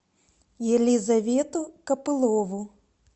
елизавету копылову